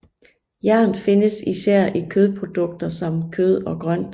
Jern findes især i kornprodukter samt kød og grønt